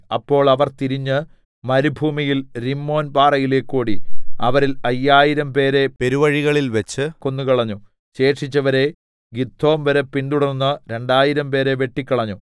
അപ്പോൾ അവർ തിരിഞ്ഞ് മരുഭൂമിയിൽ രിമ്മോൻ പാറയിലേക്ക് ഓടി അവരിൽ അയ്യായിരംപേരെ പെരുവഴികളിൽവെച്ച് കൊന്നുകളഞ്ഞു ശേഷിച്ചവരെ ഗിദോം വരെ പിന്തുടർന്ന് രണ്ടായിരം പേരെ വെട്ടിക്കളഞ്ഞു